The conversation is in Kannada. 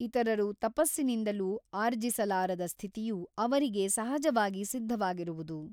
ಇತರರು ತಪಸ್ಸಿನಿಂದಲೂ ಆರ್ಜಿಸಲಾರದ ಸ್ಥಿತಿಯು ಅವರಿಗೆ ಸಹಜವಾಗಿ ಸಿದ್ಧವಾಗಿರುವುದು.